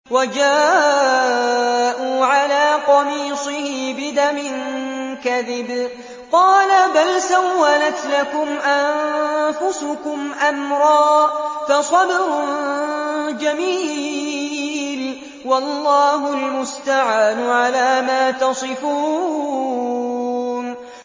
وَجَاءُوا عَلَىٰ قَمِيصِهِ بِدَمٍ كَذِبٍ ۚ قَالَ بَلْ سَوَّلَتْ لَكُمْ أَنفُسُكُمْ أَمْرًا ۖ فَصَبْرٌ جَمِيلٌ ۖ وَاللَّهُ الْمُسْتَعَانُ عَلَىٰ مَا تَصِفُونَ